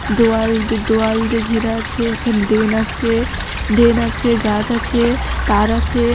দেয়াল দে দোয়াল দিয়ে ঘেরা আছে। একটি ড্রেন আছে ড্রেন আছে গাছ আছে তার আছে ।